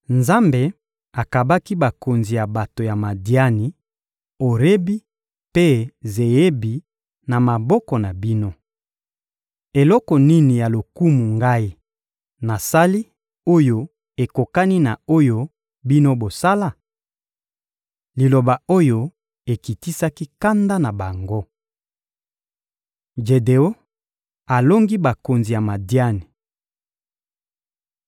Nzambe akabaki bakonzi ya bato ya Madiani, Orebi mpe Zeebi, na maboko na bino. Eloko nini ya lokumu ngai nasali oyo ekokani na oyo bino bosala? Liloba oyo ekitisaki kanda na bango. Jedeon alongi bakonzi ya Madiani